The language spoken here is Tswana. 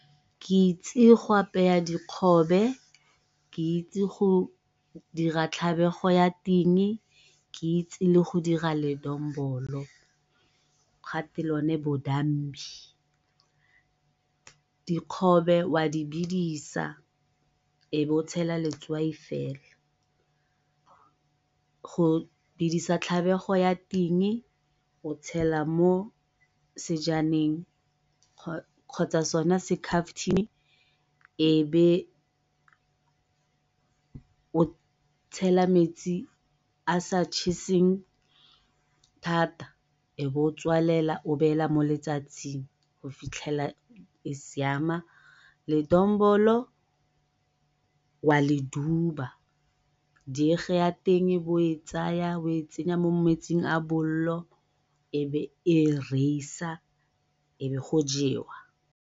Ke itse go dikgobe, ke itse go dira tlhabego ya ting, ke itse le go dira ledombolo bodambi. Dikgobe wa di bedisa e be o tshela letswai fela. Go bidisa tlhabego ya ting o tshela mo sejaneng kgotsa sona be o tshela metsi a sa cheseng thata o be o tswalela o be o baya mo letsatsing go fitlhelela e siama. Ledombolo wa le duba, dege ya teng e be o e tsaya o e tsenya mo metsing a bolelo e be e reisa e be go jewa.